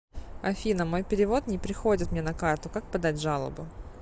афина мой перевод не приходит мне на карту как подать жалобу